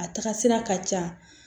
A taga sira ka ca